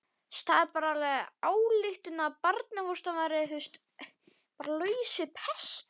Finnur dró þá ályktun að barnfóstran væri laus við pestina.